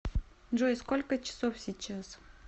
джой сколько часов сейчас